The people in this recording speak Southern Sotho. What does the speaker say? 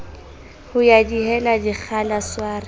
ho ya dihela dikgala sware